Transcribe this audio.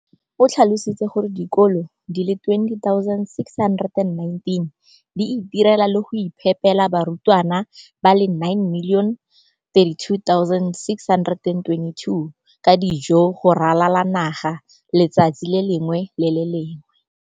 O tlhalositse gore dikolo di le 20 619 di itirela le go iphepela barutwana ba le 9 032 622 ka dijo go ralala naga letsatsi le lengwe le le lengwe.